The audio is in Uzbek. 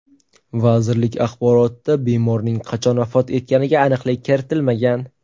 Vazirlik axborotida bemorning qachon vafot etganiga aniqlik kiritilmagan.